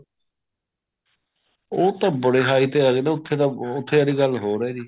ਉਹ ਤਾਂ ਬਹੁਤ high ਤੇ ਆ ਜਾਂਦਾ ਉੱਥੇ ਤਾਂ ਉੱਥੇ ਆਲੀ ਗੱਲ ਹੋਰ ਹੈ ਜੀ